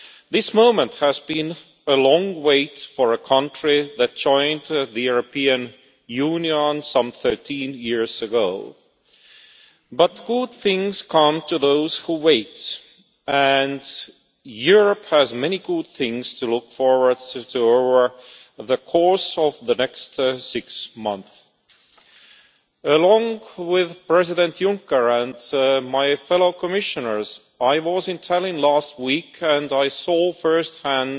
This moment comes after a long wait for a country that joined the European Union some 13 years ago, but good things come to those who wait, and Europe has many good things to look forward to over the course of the next six months. Along with President Juncker and my fellow Commissioners, I was in Tallinn last week and saw first hand